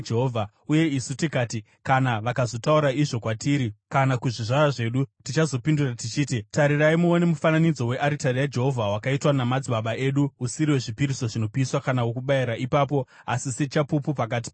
“Uye isu tikati, ‘Kana vakazotaura izvo kwatiri, kana kuzvizvarwa zvedu, tichazopindura tichiti: Tarirai muone mufananidzo wearitari yaJehovha, wakaitwa namadzibaba edu; usiri wezvipiriso zvinopiswa kana wokubayira ipapo, asi sechapupu pakati pedu nemi.’